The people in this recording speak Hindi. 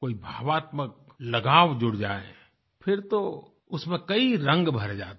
कोई भावात्मक लगाव जुड़ जाए फिर तो उसमें कई रंग भर जाते हैं